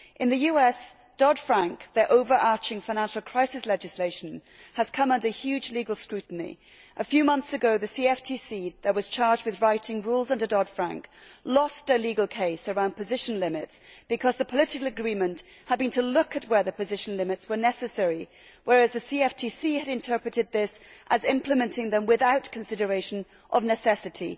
In the US, the overarching financial crisis legislation, Dodd Frank, has come under huge legal scrutiny. A few months ago the CFTC, which was charged with writing rules under Dodd Frank, lost their legal case around position limits because the political agreement had been to look at where the position limits were necessary, whereas the CFTC had interpreted this as implementing them without consideration of necessity.